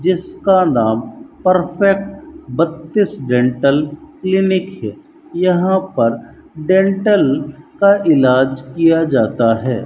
जिसका नाम परफेक्ट बत्तीस जैनटल क्लिनिक है यहां पर डेंटल का इलाज किया जाता है।